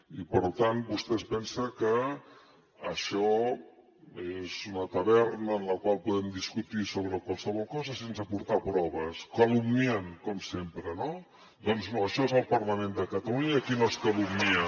i per tant vostè es pensa que això és una taverna en la qual podem discutir sobre qualsevol cosa sense aportar proves calumniant com sempre no doncs no això és el parlament de catalunya i aquí no es calumnia